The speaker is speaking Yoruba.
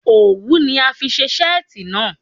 Owu ni a fi ṣe seeti naa